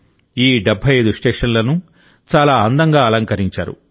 ఈ 75 స్టేషన్లను చాలా అందంగా అలంకరించారు